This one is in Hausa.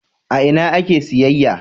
A ina ake siyayya?